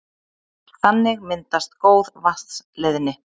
Þannig myndast góð vatnsleiðni.